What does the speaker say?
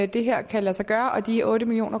det her kan lade sig gøre og de otte million